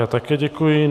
Já také děkuji.